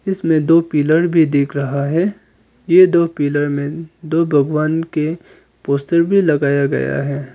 इसमें दो पिलर भी देख रहा है यह दो पिलर में दो भगवान के पोस्टर भी लगाया गया है।